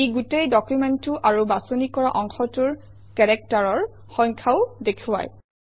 ই গোটেই ডকুমেণ্টটো আৰু বাছনি কৰা অংশটোৰ কেৰেক্টাৰৰ সংখ্যাও দেখুৱায়